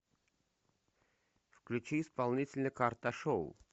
включи исполнителя карташоу